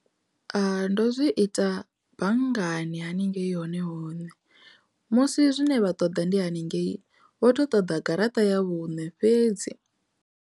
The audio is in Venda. Ndo zwi ita banngani haningei hone hune musi zwine vha ṱoḓa ndi haningei vho to ṱoḓa garaṱa ya vhune fhedzi.